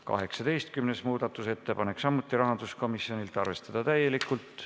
18. muudatusettepanek, samuti rahanduskomisjonilt, arvestada täielikult.